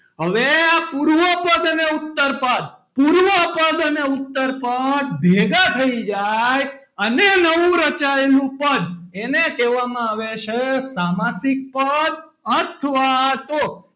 હવે પૂર્વપદ અને ઉત્તરપદ અને પૂર્વપદ અને ઉત્તરપદ ભેગાં થયી જાય અને નવું રચાયેલું પદ એને કહેવામાં આવે છે સામાસિક પદ અથવા તો,